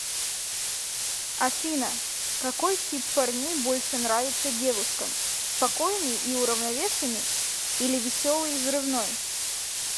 афина какой тип парней больше нравится девушкам спокойный и уравновешенный или веселый и взрывной